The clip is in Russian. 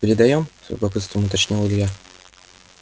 передаём с любопытством уточнил илья